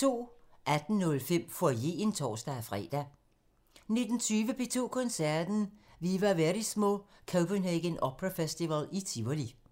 18:05: Foyeren (tor-fre) 19:20: P2 Koncerten – Viva Verismo – Copenhagen Opera Festival i Tivoli